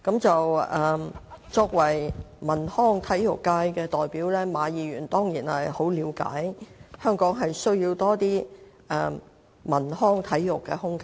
作為體育、演藝、文化及出版界的代表，馬議員當然深知香港需要更多文康體育空間。